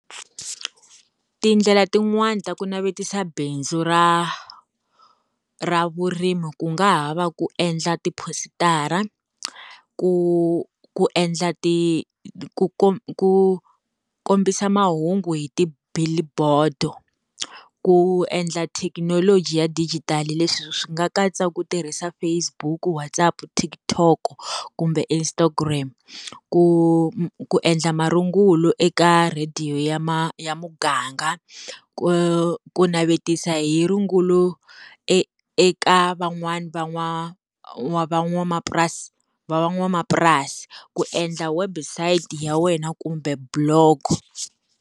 Tindlela tin'wani ta ku navetisa bindzu ra ra vurimi ku nga ha va ku endla ti-post-ara, ku ku endla ti ku ku kombisa mahungu hi ti-billboard-o, ku endla thekinoloji ya dijitali leswi swi nga katsa ku tirhisa Facebook, WhatsApp Tik tok kumbe Instagram ku ku endla marungulo eka radio ya ma ya muganga, ku navetisa hi rungulo eka van'wani va n'wani van'wamapurasi va van'wamapurasi ku endla website ya wena kumbe block.